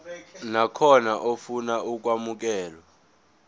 nakhona ofuna ukwamukelwa